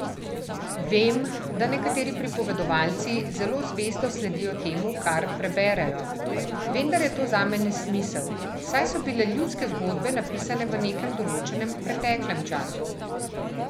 Vem, da nekateri pripovedovalci zelo zvesto sledijo temu, kar preberejo, vendar je to zame nesmisel, saj so bile ljudske zgodbe napisane v nekem določenem preteklem času.